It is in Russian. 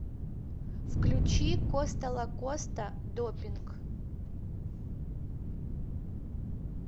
включи коста лакоста допинг